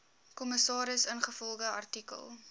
kommissaris ingevolge artikel